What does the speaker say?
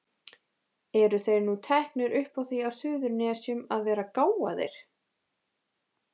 Eru þeir nú teknir upp á því á Suðurnesjum að vera gáfaðir?